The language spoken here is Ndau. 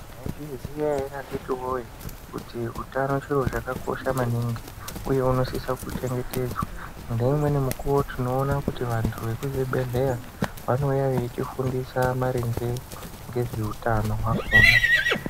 Mwaizviziya ere akhiti woye kuti utano chiro chakakosha maningi uye hunosise kuchengetedzwa. Ngeumweni mukuwo tinoona kuti vantu vekuzvibhedhlera vanouya vachitifundisa maringe ngezveutano hwakhona.